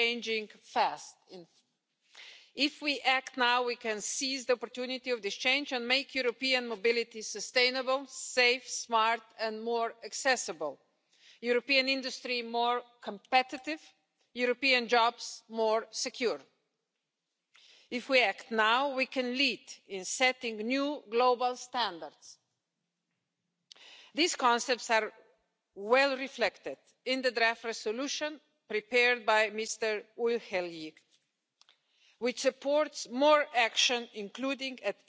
becoming increasingly clean, connected and automated, and ultimately driverless and zero-emissions. This opens the possibility for vehicles to become an integral part of multimodal mobility, providing first and last-mile service and inclusive solutions for the elderly, disabled, and young people. Before we get there,